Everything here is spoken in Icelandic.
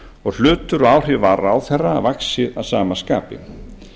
og hlutur og áhrif ráðherra vaxið að sama skapi